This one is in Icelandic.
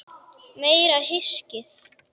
Meira hyskið!